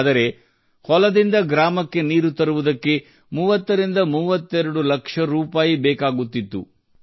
ಆದರೆ ಹೊಲದಿಂದ ಗ್ರಾಮಕ್ಕೆ ನೀರು ತರುವುದಕ್ಕೆ 30 ರಿಂದ 32 ಲಕ್ಷ ರೂಪಾಯಿ ಬೇಕಾಗುತ್ತಿತ್ತು